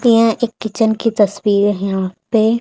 यह एक किचन की तस्वीर है यहां पर